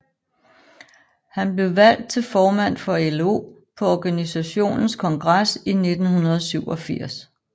Han blev valgt til formand for LO på organisationens kongres i 1987